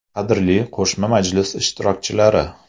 Qadrli qo‘shma majlis ishtirokchilari!